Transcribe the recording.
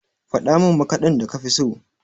Faɗa min maƙadin da kafi so?